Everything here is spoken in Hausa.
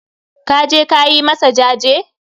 kaje ka yi masa jaje?